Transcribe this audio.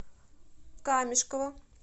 камешково